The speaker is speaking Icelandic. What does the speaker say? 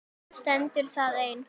Stendur það enn?